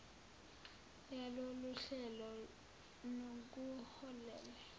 yalolu hlelo nokuholele